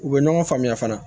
U bɛ ɲɔgɔn faamuya fana